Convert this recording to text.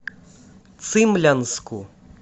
цимлянску